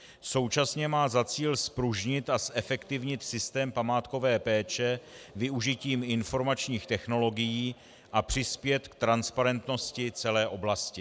Současně má za cíl zpružnit a zefektivnit systém památkové péče využitím informačních technologií a přispět k transparentnosti celé oblasti.